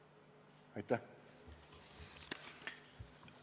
Aitäh!